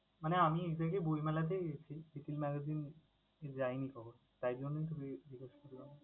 মানে আমি exactly বইমেলাতেই গেছি, little magazine এ যাই নি কখনো। তাই জন্যেই তোকে request করলাম